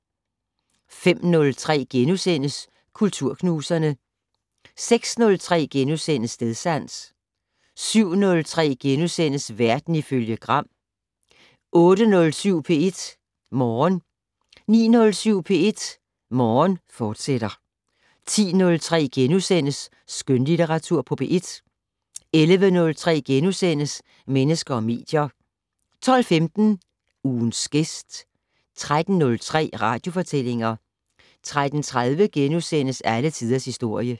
05:03: Kulturknuserne * 06:03: Stedsans * 07:03: Verden ifølge Gram * 08:07: P1 Morgen 09:07: P1 Morgen, fortsat 10:03: Skønlitteratur på P1 * 11:03: Mennesker og medier * 12:15: Ugens gæst 13:03: Radiofortællinger 13:30: Alle tiders historie *